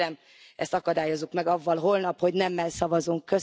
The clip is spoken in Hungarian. Tehát kérem, ezt akadályozzuk meg azzal holnap, hogy nemmel szavazunk.